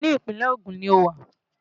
Íbo ni Ìpínlẹ̀ Ogun lo wà?